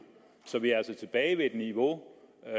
så vi er altså tilbage på et niveau der